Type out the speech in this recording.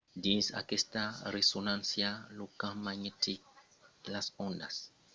dins aquesta resonància lo camp magnetic e las ondas de ràdio causan l'emission de senhals de ràdio minusculs dels atòms